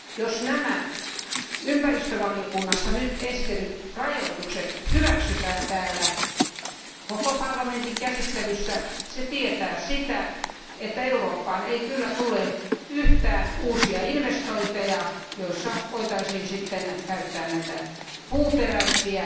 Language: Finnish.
Jos nämä ympäristövaliokunnassa nyt esitetyt rajoitukset hyväksytään täällä koko parlamentin käsittelyssä, se tietää sitä, että Eurooppaan ei kyllä tule yhtään uusia investointeja, joissa voitaisiin sitten käyttää näitä puuperäisiä